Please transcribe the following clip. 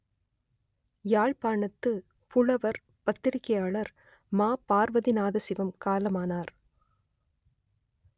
யாழ்ப்பாணத்து புலவர் பத்திரிகையாளர் ம பார்வதிநாதசிவம் காலமானார்